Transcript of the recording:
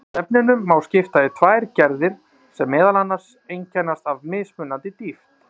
Svefninum má skipta í tvær gerðir sem meðal annars einkennast af mismunandi dýpt.